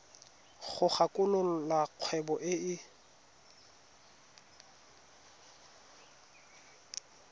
go kwalolola kgwebo e e